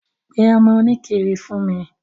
Pe ọmọ oníkiri fún mi.